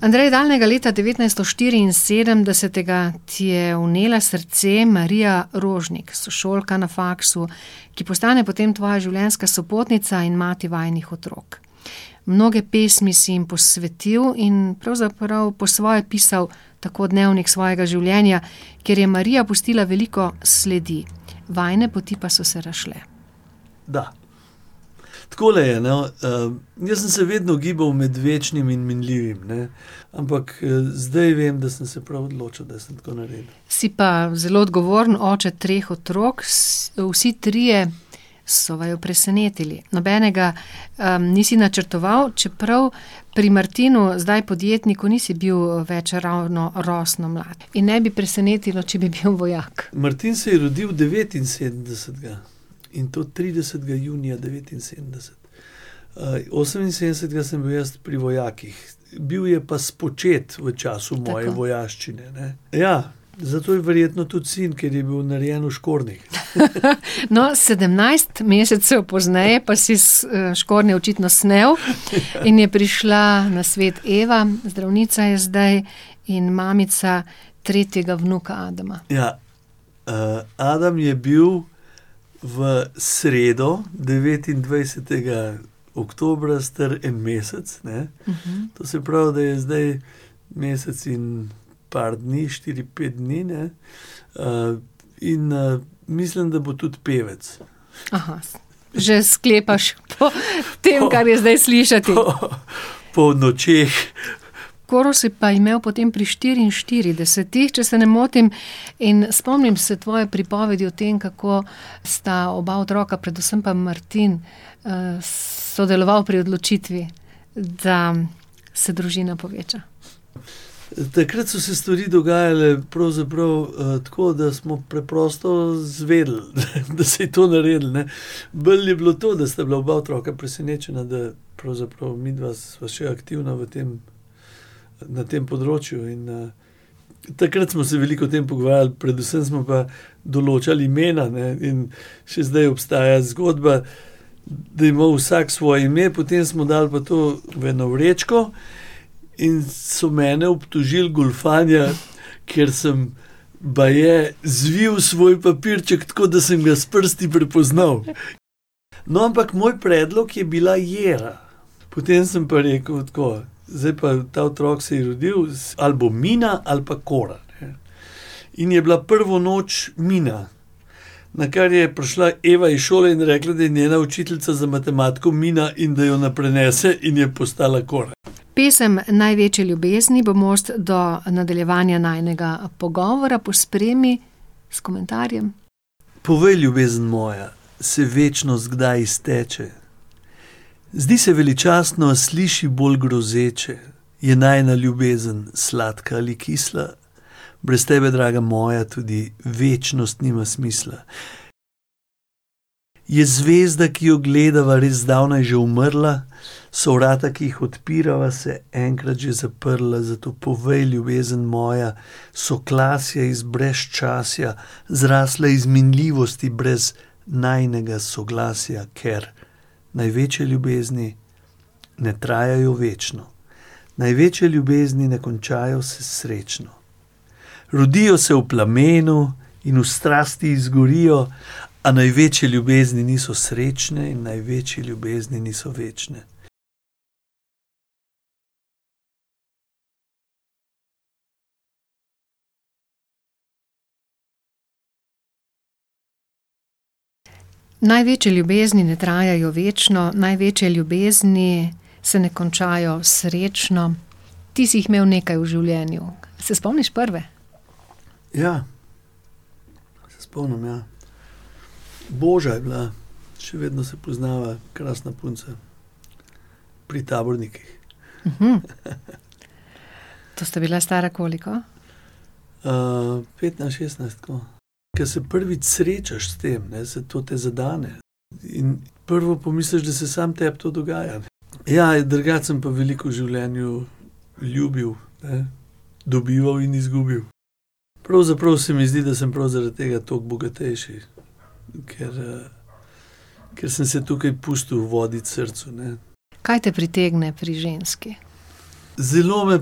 Andrej, davnega leta devetnajststo štiriinsedemdesetega ti je vnela srce Marija Rožnik, sošolka na faksu, ki postane potem tvoja življenjska sopotnica in mati vajinih otrok. Mnoge pesmi si jim posvetil in pravzaprav po svoje pisal tako dnevnik svojega življenja, kjer je Marija pustila veliko sledi. Vajine poti pa so se razšle. Da. Takole je, no. jaz sem se vedno gibal med večnim in minljivim, ne. Ampak, zdaj vem, da sem se prav odločil, da sem tako naredil. Si pa zelo odgovoren oče treh otrok. vsi trije so vaju presenetili. Nobenega, nisi načrtoval, čeprav pri Martinu, zdaj podjetniku, nisi bil več ravno rosno mlad. In ne bi presenetilo, če bi bil vojak. Martin se je rodil devetinsedemdesetega. In to tridesetega junija devetinsedemdeset. oseminsedemdesetega sem bil jaz pri vojakih. Bil je pa spočet v času moje vojaščine, ne. Ja. Zato je verjetno tudi sin, ker je bil narejen v škornjih. No, sedemnajst mesecev pozneje pa si škornje očitno snel in je prišla na svet Eva, zdravnica je zdaj in mamica tretjega vnuka Adama. Ja. Adam je bil v sredo, devetindvajsetega oktobra, star en mesec, ne. To se pravi, da je zdaj mesec in par dni, štiri, pet dni, ne. in, mislim, da bo tudi pevec. že sklepaš po tem, kar je zdaj slišati. Po nočeh. Koro si pa imel potem pri štiriinštiridesetih, če se ne motim. In spomnim se tvoje pripovedi o tem, kako sta oba otroka, predvsem pa Martin, sodeloval pri odločitvi, da se družina poveča. Takrat so se stvari dogajale pravzaprav, tako, da smo preprosto izvedeli, da se je to naredilo, ne. Bolj je bilo to, da sta bila oba otroka presenečena, da pravzaprav midva sva še aktivna v tem, na tem področju, in, takrat smo se veliko o tem pogovarjali, predvsem smo pa določali imena, ne. In še zdaj obstaja zgodba, da je imel vsak svoje ime, potem smo dali pa to v eno vrečko in so mene obtožil goljufanja, ker sem baje zvil svoj papirček tako, da sem ga s prsti prepoznal. No, ampak moj predlog je bila Jera. Potem sem pa rekel tako: "Zdaj pa, ta otrok se je rodil ali bo Mina ali pa Kora, ne." In je bila prvo noč Mina. Nakar je prišla Eva iz šole in rekla, da je njena učiteljica za matematiko Mina in da jo ne prenese, in je postala Kora. Pesem Največje ljubezni bo most do nadaljevanja najinega pogovora. Pospremi s komentarjem. Povej, ljubezen moja. Se večnost kdaj izteče? Zdi se veličastno, sliši bolj grozeče. Je najina ljubezen sladka ali kisla? Brez tebe, draga moja, tudi večnost nima smisla. Je zvezda, ki jo gledava, res zdavnaj že umrla? So vrata, ki jih odpirava, se enkrat že zaprla? Zato povej, ljubezen moja, so klasje iz brezčasja zrasle iz minljivosti brez najinega soglasja? Ker največje ljubezni ne trajajo večno. Največje ljubezni ne končajo se srečno. Rodijo se v plamenu in v strasti izgorijo, a največje ljubezni niso srečne in največje ljubezni niso večne. Največje ljubezni ne trajajo večno, največje ljubezni se ne končajo srečno. Ti si jih imel nekaj v življenju. Se spomniš prve? Ja. Se spomnim, ja. Boža je bila. Še vedno se poznava, krasna punca. Pri tabornikih. To sta bila stara koliko? petnajst, šestnajst, tako. Ke se prvič srečaš s tem, ne, saj to te zadene. In prvo pomisliš, da se samo tebi to dogaja. Ja, in drugače sem pa veliko v življenju ljubil, ne. Dobival in izgubil. Pravzaprav se mi zdi, da sem prav zaradi tega toliko bogatejši. Ker, ker sem se tukaj pustil voditi srcu, ne. Kaj te pritegne pri ženski? Zelo me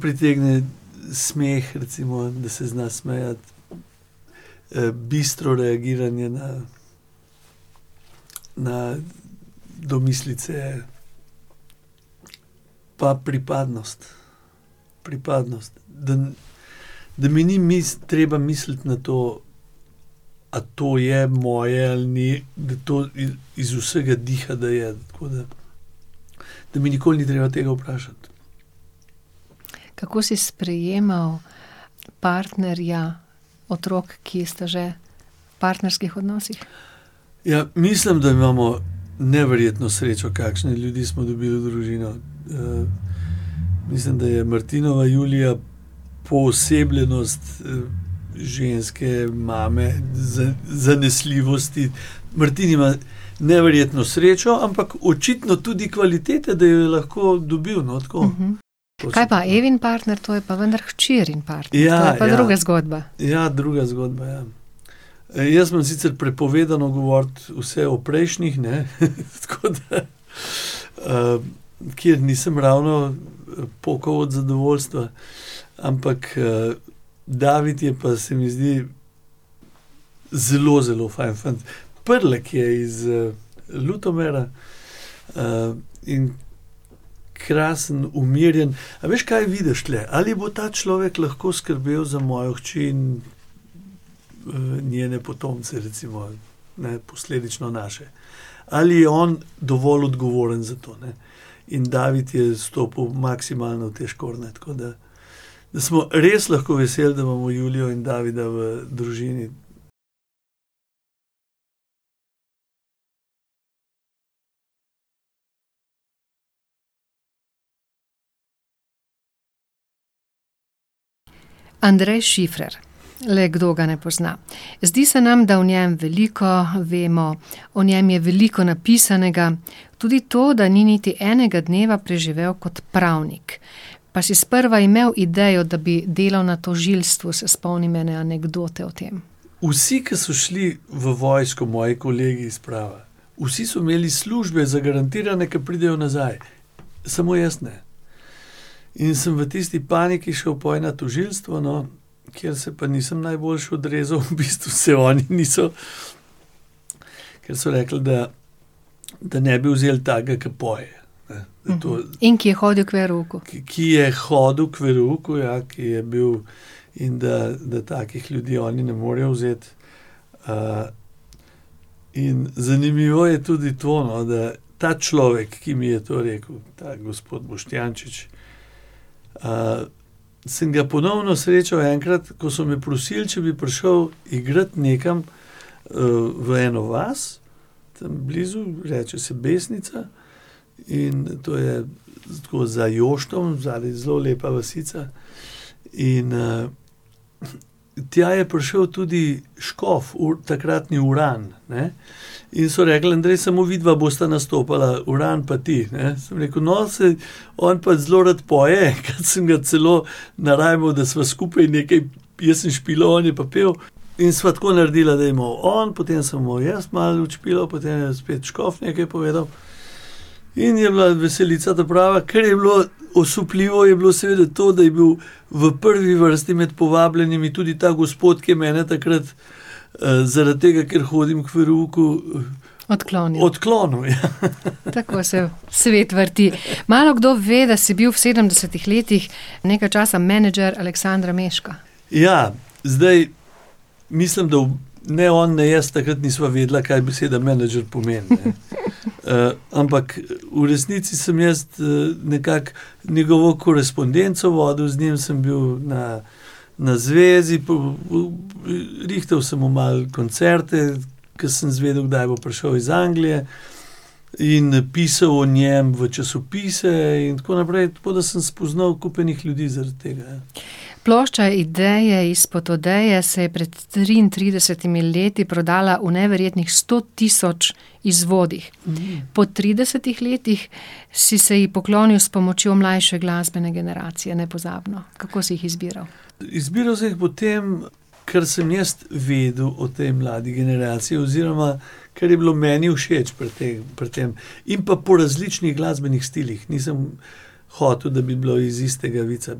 pritegne smeh, recimo. Da se zna smejati. bistro reagiranje na, na domislice. Pa pripadnost. Pripadnost. Da da mi ni treba misliti na to, a to je moje ali ni. Da to iz vsega diha, da je, tako da. Da mi nikoli ni treba tega vprašati. Kako si sprejemal partnerja otrok, ki sta že v partnerskih odnosih? Ja, mislim, da imamo neverjetno srečo, kakšne ljudi smo dobili v družino. mislim, da je Martinova Julija poosebljenost, ženske, mame, zanesljivosti. Martin ima neverjetno srečo, ampak očitno tudi kvalitete, da jo je lahko dobil, no, tako. Kaj pa Evin partner? To je pa vendar hčerin partner. To je pa druga zgodba. Ja, druga zgodba, ja. Jaz imam sicer prepovedano govoriti vse o prejšnjih, ne. Tako da, nikjer nisem ravno pokal od zadovoljstva. Ampak, David je pa, se mi zdi, zelo zelo fajn fant. Prlek je iz, Ljutomera. in krasen, umirjen. A veš, kaj vidiš tule? Ali bo ta človek lahko skrbel za mojo hči in, njene potomce, recimo? Ne, posledično naše. Ali je on dovolj odgovoren za to, ne. In David je stopil maksimalno v te škornje, tako da smo res lahko veseli, da imamo Julijo in Davida v družini. Andrej Šifrer. Le kdo ga ne pozna? Zdi se nam, da o njem veliko vemo, o njem je veliko napisanega. Tudi to, da ni niti enega dneva preživel kot pravnik. Pa si sprva imel idejo, da bi delal na tožilstvu, se spomnim ene anekdote o tem. Vsi, ki so šli v vojsko, moji kolegi s prava, vsi so imeli službe zagarantirane, ko pridejo nazaj. Samo jaz ne. In sem v tisti paniki šel pol na tožilstvo, no, kjer se pa nisem najboljše odrezal. V bistvu se oni niso, kar so rekli, da, da ne bi vzel takega, ke poje, ne. In to ... In ki je hodil k verouku. Ki je hodil k verouku, ja, ki je bil ... In da, da takih ljudi oni ne morejo vzeti. in zanimivo je tudi to, no, da ta človek, ki mi je to rekel, ta gospod Boštjančič, sem ga ponovno srečal enkrat, ko so me prosili, če bi prišel igrat nekam, v eno vas tam blizu, reče se Besnica, in to je tako za Joštom zadaj, zelo lepa vasica. In, tja je prišel tudi škof takratni, Uran, ne. In so rekli: "Andrej, samo vidva bosta nastopala, Uran pa ti, ne." Sem rekel: "No, saj on pa zelo rad poje. Enkrat sem ga celo narajmal, da sva skupaj nekaj, jaz sem špilal, on je pa pel." In sva tako naredila, da je malo on, potem sem malo jaz malo odšpilal, potem je spet škof nekaj povedal. In je bila veselica ta prava. Kar je bilo osupljivo, je bilo seveda to, da je bil v prvi vrsti med povabljenimi tudi ta gospod, ki je mene takrat, zaradi tega, ker hodim k verouku ... Odklonil. Odklonil, ja. Tako se svet vrti. Malokdo ve, da si bil v sedemdesetih letih nekaj časa menedžer Aleksandra Mežka. Ja, zdaj mislim, da ne on ne jaz takrat nisva vedela, kaj beseda menedžer pomeni. ampak v resnici sem jaz, nekako njegovo korespondenco vodil, z njim sem bil na, na zvezi rihtal sem mu malo koncerte, ko sem izvedel, kdaj bo prišel iz Anglije in pisal o njem v časopise in tako naprej. Tako da sem spoznal kup enih ljudi zaradi tega, ja. Plošča Ideje izpod odeje se je pred triintridesetimi leti prodala v neverjetnih sto tisoč izvodih. Po tridesetih letih si se ji poklonil s pomočjo mlajše glasbene generacije, nepozabno. Kako si jih izbiral? Izbiral sem jih po tem, kar sem jaz vedel o tej mladi generaciji oziroma kar je bilo meni všeč pri pri tem. In pa po različnih glasbenih stilih. Nisem hotel, da bi bilo iz istega vica.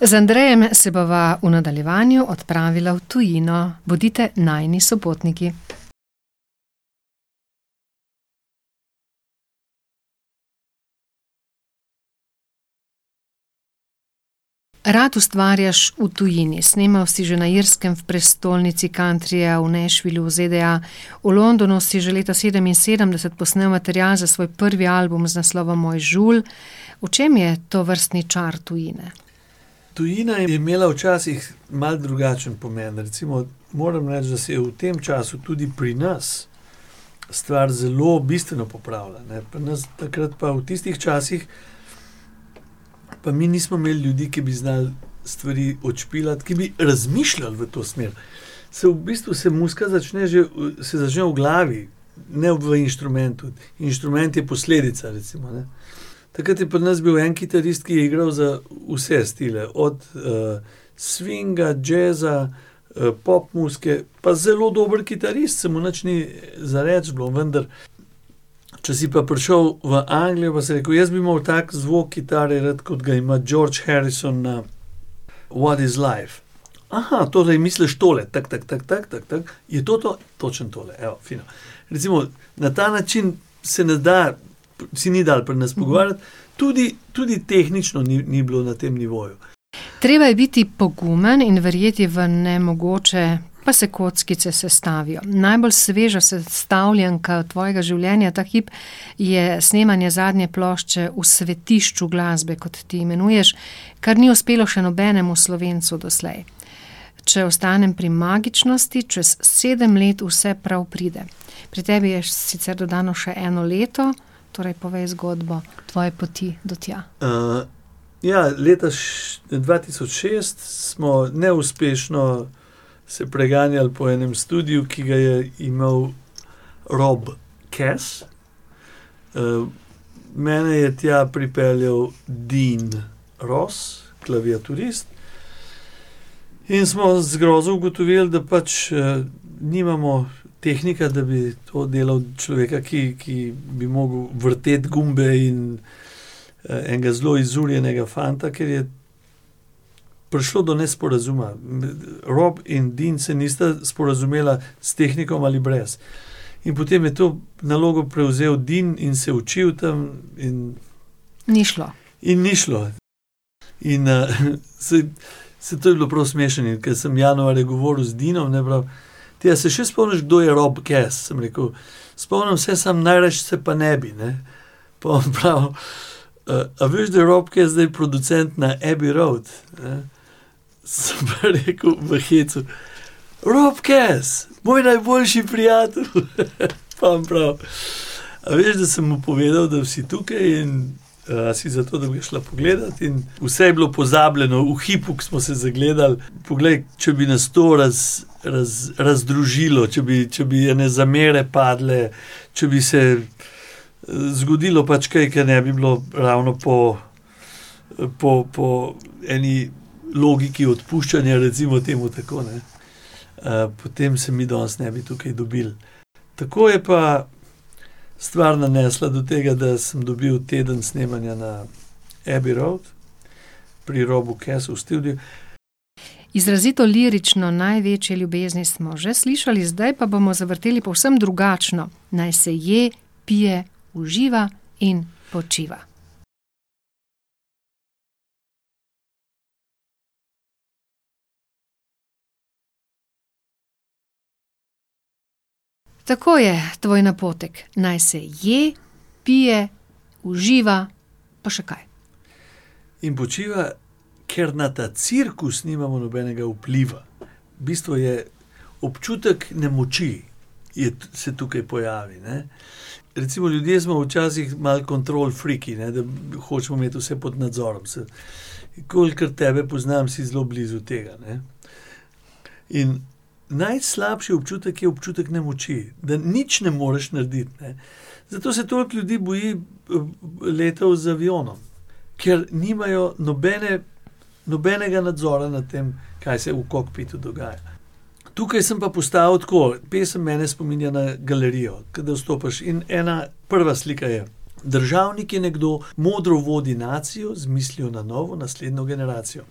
Z Andrejem se bova v nadaljevanju odpravila v tujino. Bodite najini sopotniki. Rad ustvarjaš v tujini. Snemal si že na Irskem, v prestolnici countryja, v Nashvillu v ZDA. V Londonu si že leta sedeminsedemdeset posnel material za svoj prvi album z naslovom Moj žulj. V čem je tovrstni čar tujine? Tujina je imela včasih malo drugačen pomen. Recimo moram reči, da se je v tem času tudi pri nas stvar zelo bistveno popravila, ne. Pri nas takrat pa v tistih časih pa mi nismo imeli ljudi, ki bi znali stvari odšpilati, ki bi razmišljali v to smer. Saj v bistvu se muzika začne že se začne v glavi, ne v inštrumentu. Inštrument je posledica, recimo, ne. Takrat je pri nas bil en kitarist, ki je igral za vse stile, od, swinga, džeza, pop muzike. Pa zelo dober kitarist, saj mu nič ni za reči bilo, vendar če si pa prišel v Anglijo, pa si rekel: "Jaz bi imel tak zvok kitare rad, kot ga ima George Harrison na What is life." torej misliš tole: Je to to? Točno tole, evo, fino. Recimo na ta način se ne da, se ni dalo pri nas pogovarjati. Tudi, tudi tehnično ni, ni bilo na tem nivoju. Treba je biti pogumen in verjeti v nemogoče, pa se kockice sestavijo. Najbolj sveža sestavljanka tvojega življenja ta hip je snemanje zadnje plošče v svetišču glasbe, kot ti imenuješ, kar ni uspelo še nobenemu Slovencu doslej. Če ostanem pri magičnosti, čez sedem let vse prav pride. Pri tebi je sicer dodano še eno leto, torej, povej zgodbo tvoje poti do tja. ja, leta dva tisoč šest smo neuspešno se preganjali po enem studiu, ki ga je imel Rob Kess. mene je tja pripeljal Din Ross, klaviaturist. In smo z grozo ugotovili, da pač, nimamo tehnika, da bi to delal, človeka, ki, ki bi mogel vrteti gumbe in, enega zelo izurjenega fanta, ker je prišlo do nesporazuma. Rob in Din se nista sporazumela s tehnikom ali brez. In potem je to nalogo prevzel Din in se je učil tam in ... Ni šlo. In ni šlo. In, saj, saj to je bilo prav smešno. In ko sem januarja govoril z Dinom, ne, pravi: "Ti, a se še spomniš, kdo je Rob Kess?" Sem rekel: "Spomnim se, samo najrajši se pa ne bi, ne." Pol pa pravi: a veš, da je Rob Kess zdaj producent na Abbey Road?" Sem pa rekel v hecu: "Rob Kess? Moj najboljši prijatelj? Pa on pravi: "A veš, da sem mu povedal, da si tukaj in, si za to, da bi šla pogledat. In vse je bilo pozabljeno v hipu, ko smo se zagledali. Poglej, če bi nas to razdružilo, če bi, če bi ene zamere padle, če bi se zgodilo pač kaj, ker ne bi bilo ravno po, po, po eni logiki odpuščanja, recimo temu tako, ne, potem se mi danes ne bi tukaj dobili. Tako je pa stvar nanesla do tega, da sem dobil teden snemanja na Abbey road pri Robu Kessu v studiu. Izrazito lirično Največje ljubezni smo že slišali, zdaj pa bomo zavrteli povsem drugačno Naj se je, pije, uživa in počiva. Tako je, tvoj napotek. Naj se je, pije, uživa, pa še kaj. In počiva. Ker na ta cirkus nimamo nobenega vpliva. V bistvu je občutek nemoči se tukaj pojavi, ne. Recimo ljudje smo včasih malo control freaki, ne. Da hočemo imeti vse pod nadzorom, saj kolikor tebe poznam, si zelo blizu tega, ne. In najslabši občutek je občutek nemoči. Da nič ne moreš narediti, ne. Zato se toliko ljudi boji, letov z avionom. Ker nimajo nobenega nadzora nad tem, kaj se v kokpitu dogaja, ne. Tukaj sem pa postavil tako: pesem mene spominja na galerijo, kadar vstopaš. In ena prva slika je državnik, ki nekdo modro vodi nacijo z mislijo na novo, naslednjo generacijo.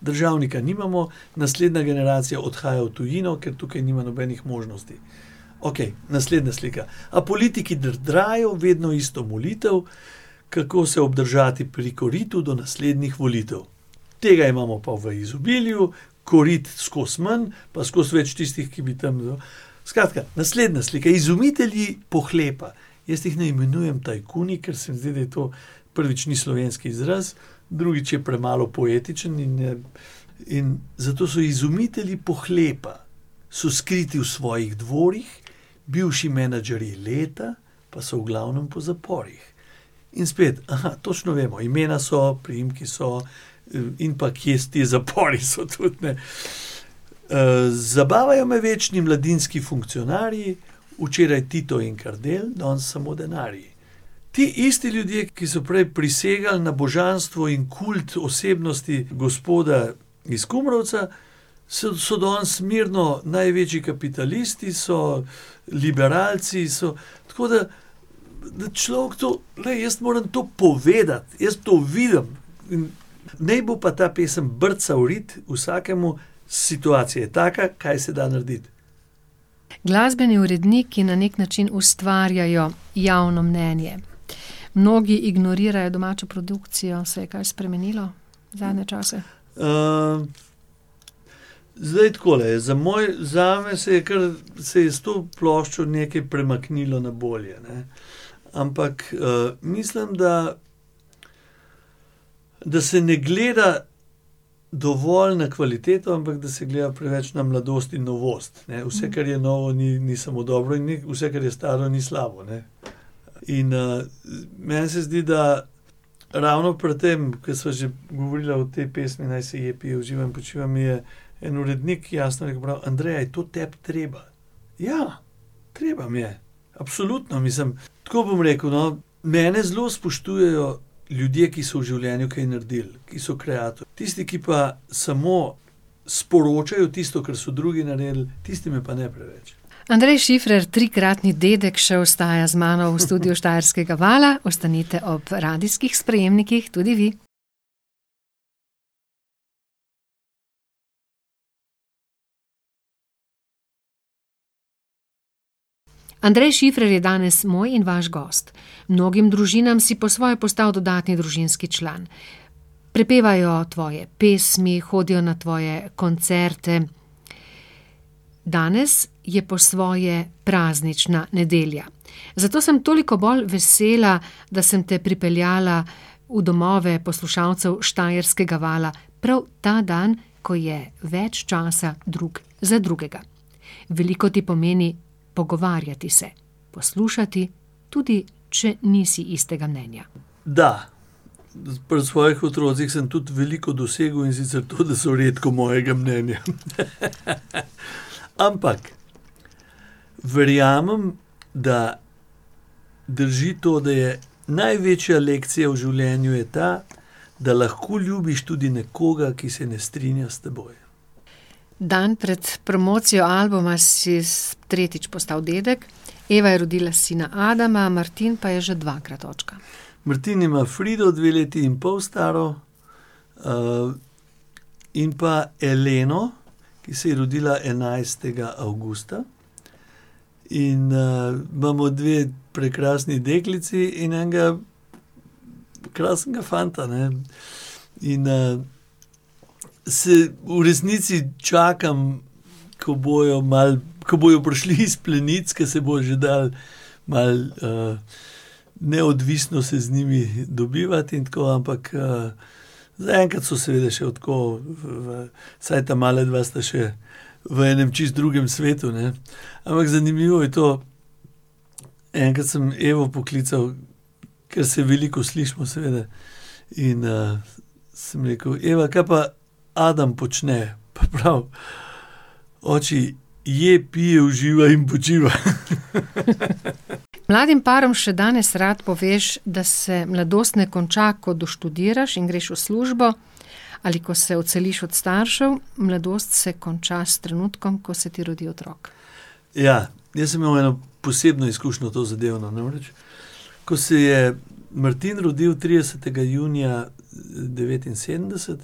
Državnika nimamo, naslednja generacija odhaja v tujino, ker tukaj nima nobenih možnosti. Okej, naslednja slika. A politiki drdrajo vedno isto molitev, kako se obdržati pri koritu, do naslednjih volitev. Tega imamo pa v izobilju, korit skozi manj, pa skozi več tistih, ki bi tam ... Skratka, naslednja slika. Izumitelji pohlepa. Jaz jih ne imenujem tajkuni, ker se mi zdi, da je to, prvič ni slovenski izraz, drugič je premalo poetičen in, in zato so izumitelji pohlepa. So skriti v svojih dvorih, bivši menedžerji leta pa so v glavnem po zaporih. In spet. točno vemo, imena so, priimki so in pa kje te zapori so, tudi, ne. zabavajo me večni mladinski funkcionarji, včeraj Tito in Kardelj, danes samo denarji. Ti isti ljudje, ki so prej prisegali na božanstvo in kult osebnosti gospoda iz Kumrovca, so danes mirno največji kapitalisti, so liberalci, so ... Tako da da človek to, glej, jaz moram to povedati. Jaz to vidim. In naj bo pa ta pesem brca v rit vsakemu, situacija je taka, kaj se da narediti. Glasbeni uredniki na neki način ustvarjajo javno mnenje. Mnogi ignorirajo domačo produkcijo. Se je kaj spremenilo zadnje čase? zdaj, takole je. Za zame se je kar, se je s to ploščo nekaj premaknilo na bolje, ne. Ampak, mislim, da da se ne gleda dovolj na kvaliteto, ampak da se gleda preveč na mladost in novost, ne. Vse, kar je novo, ni, ni samo dobro, in ni vse, kar je staro, ni slabo, ne. In, meni se zdi, da ravno pri tem, ke sva že govorila o tej pesmi Naj se je, pije, uživa in počiva, mi je en urednik jasno rekel, prav: "Andrej, a je to tebi treba?" Ja. Treba mi je. Absolutno. Mislim, tako bom rekel, no. Mene zelo spoštujejo ljudje, ki so v življenju kaj naredili. Ki so kreator. Tisti, ki pa samo sporočajo tisto, kar so drugi naredili, tisti me pa ne preveč. Andrej Šifrer, trikratni dedek, še ostaja z mano v studiu Štajerskega vala. Ostanite ob radijskih sprejemnikih tudi vi. Andrej Šifrer je danes moj in vaš gost. Mnogim družinam si po svoje postal dodatni družinski član. Prepevajo tvoje pesmi, hodijo na tvoje koncerte. Danes je po svoje praznična nedelja. Zato sem toliko bolj vesela, da sem te pripeljala v domove poslušalcev Štajerskega vala prav ta dan, ko je več časa drug za drugega. Veliko ti pomeni pogovarjati se, poslušati, tudi če nisi istega mnenja. Da. Pri svojih otrocih sem tudi veliko dosegel, in sicer to, da so redko mojega mnenja. Ampak verjamem, da drži to, da je največja lekcija v življenju je ta, da lahko ljubiš tudi nekoga, ki se ne strinja s teboj. Dan pred promocijo albuma si tretjič postal dedek. Eva je rodila sina Adama, Martin pa je že dvakrat očka. Martin ima Frido, dve leti in pol staro, in pa Eleno, ki se je rodila enajstega avgusta. In, imamo dve prekrasni deklici in enega krasnega fanta, ne. In, saj v resnici čakam, ko bojo malo, ko bojo prišli iz plenic, ke se bo že dalo malo, neodvisno se z njimi dobivati in tako, ampak, zaenkrat so seveda še tako v, vsaj ta mala dva sta še v enem čisto drugem svetu, ne. Ampak zanimivo je to, enkrat sem Evo poklical, ker se veliko slišimo seveda, in, sem rekel: "Eva, kaj pa Adam počne?" Pa prav: "Oči, je, pije, uživa in počiva." Mladim parom še danes rad poveš, da se mladost ne konča, ko doštudiraš in greš v službo ali ko se odseliš od staršev, mladost se konča s trenutkom, ko se ti rodi otrok. Ja. Jaz sem imel eno posebno izkušnjo tozadevno. Namreč ko se je Martin rodil tridesetega junija, devetinsedemdeset,